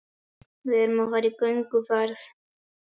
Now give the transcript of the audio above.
Við erum að fara í gönguferð.